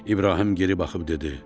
İbrahim geri baxıb dedi: